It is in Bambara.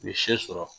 U ye sɛ sɔrɔ